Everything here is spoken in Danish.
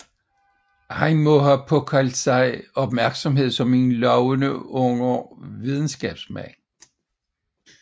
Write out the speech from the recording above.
Han må have tildraget sig opmærksomhed som en lovende ung videnskabsmand